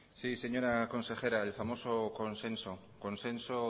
sí señora consejera el famoso consenso consenso